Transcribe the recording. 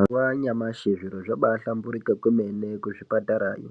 Mazuva anyamashi zviro zvabahlamburuka kwemene kuzvipatarayo